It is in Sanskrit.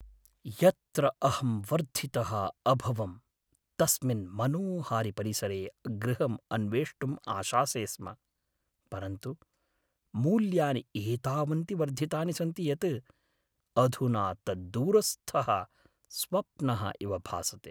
यत्र अहं वर्धितः अभवं तस्मिन् मनोहारिपरिसरे गृहम् अन्वेष्टुं आशासे स्म परन्तु मूल्यानि एतावन्ति वर्धितानि सन्ति यत् अधुना तत् दूरस्थः स्वप्नः इव भासते।